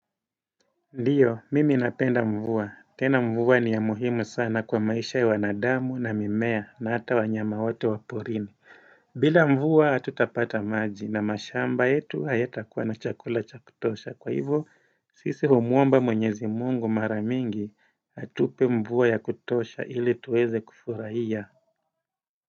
Ndio, mimi napenda mvua. Tena mvua ni ya muhimu sana kwa maisha ya wanadamu na mimea na hata wanyama wote wa porini. Bila mvua hatutapata maji na mashamba yetu hayatakuwa na chakula cha kutosha. Kwa hivyo, sisi humwomba mwenyezi mungu mara mingi atupe mvua ya kutosha ili tuweze kufurahia.